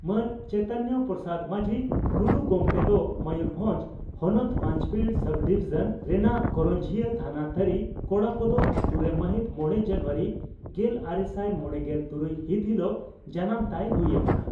ᱢᱟᱱ ᱪᱚᱭᱛᱚᱱᱭᱚ ᱯᱨᱚᱥᱟᱫᱽ ᱢᱟᱹᱡᱷᱤ (ᱴᱩᱰᱩ) ᱜᱚᱢᱠᱮ ᱫᱚ ᱢᱚᱭᱩᱨᱵᱷᱚᱸᱡᱽ ᱦᱚᱱᱚᱛ ᱯᱟᱸᱪᱯᱤᱲ ᱥᱚᱵᱰᱤᱵᱷᱤᱡᱚᱱ ᱨᱮᱱᱟᱜ ᱠᱚᱨᱚᱧᱡᱤᱭᱟᱹ ᱛᱷᱟᱱᱟ ᱛᱟᱹᱨᱤ ᱠᱚᱲᱟᱠᱟᱫᱚ ᱟᱹᱛᱩᱨᱮ ᱢᱟᱦᱤᱛ ᱢᱚᱲᱮ ᱡᱟᱱᱩᱣᱟᱨᱤ ᱜᱮᱞᱟᱨᱮᱥᱟᱭ ᱢᱚᱲᱮᱜᱮᱞ ᱛᱩᱨᱩᱭ ᱦᱤᱛ ᱦᱤᱞᱚᱜ ᱡᱟᱱᱟᱢ ᱛᱟᱭ ᱦᱩᱭ ᱟᱠᱟᱱᱟ ᱾